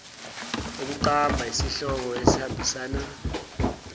ukuqamba isihloko esihambisana